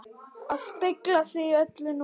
AÐ SPEGLA SIG Í ÖLLU NÚNA!